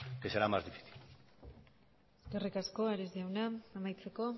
que será más difícil eskerrik asko ares jauna amaitzeko